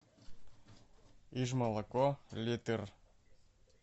иж молоко литр